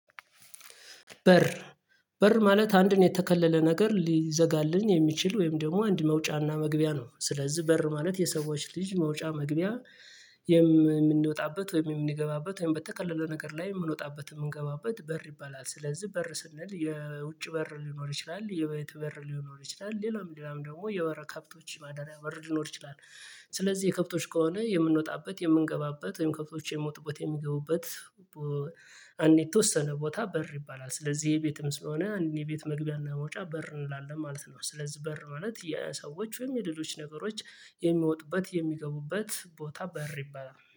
በር በር ማለት አንድን የተከለለ ነገር ሊዘጋልን የሚችል ወይም ደግሞ አንድ መውጫና መግቢያ ነው ስለዚህ በር ማለት የሰዎች ልጅ መውጫ መግቢያ የምንወጣበት ወይም የምንገባበት ወይም በተከለለ ነገር ላይ የምንወጣበት የምንገባበት በር ይባላል ስለዚህ በር ስንል የውጭ በር ሊኖር ይችላል የቤት በር ሊኖር ይችላል ሌላውም ሌላውም ደግሞ የበር ከብቶች ማደሪያ በር ሊኖር ይችላል። ስለዚህ የከብቶች ከሆነ የምንወጣበት የምንገባበት ወይም ከብቶች የሚወጡበት የሚገቡበት አንድ የተወሰነ ቦታ በር ይባላል ስለዚህ የቤትም ስለሆነ እንድን የቤት መግቢያና መውጫ በር እንላለን ማለት ነው። ስለዚህ በር ማለት የሰዎች ወይም የሌሎች ነገሮች የሚወጡበት የሚገቡበት ቦታ በር ይባላል